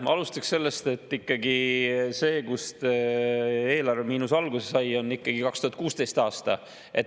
Ma alustaks sellest, et see, millal eelarvemiinus alguse sai, oli ikkagi 2016. aasta.